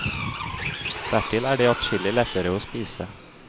Dertil er de adskillig lettere å spise.